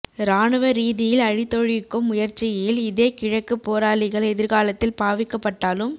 இராணுவ ரீதியில் அழித்தொழிக்கும் முயற்சியில் இதே கிழக்குப் போராளிகள் எதிர்காலத்தில் பாவிக்கப்பட்டாலும்